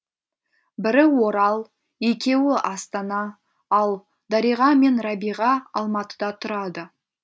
бірі орал екеуі астана ал дариға мен рабиға алматыда тұрады